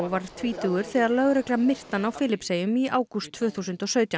var tvítugur þegar lögregla myrti hann á Filippseyjum í ágúst tvö þúsund og sautján